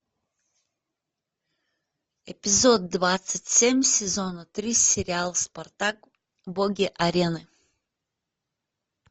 эпизод двадцать семь сезона три сериал спартак боги арены